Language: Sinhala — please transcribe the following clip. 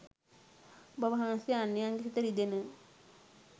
ඔබ වහන්සේ අන්‍යයන්ගේ සිත රිදෙන,